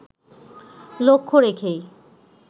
লক্ষ্য রেখেই